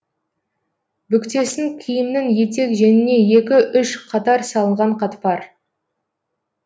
бүктесін киімнің етек жеңіне екі үш катар салынған қатпар